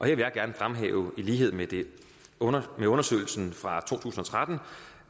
jeg gerne fremhæve i lighed med med undersøgelsen fra to tusind og tretten